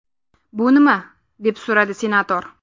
Bu nima?” deb so‘radi senator.